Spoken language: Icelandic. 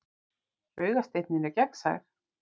Augasteinninn er gegnsær.